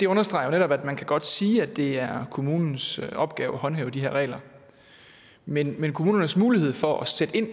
understreger netop at man godt kan sige at det er kommunens opgave at håndhæve de her regler men men kommunens mulighed for at sætte ind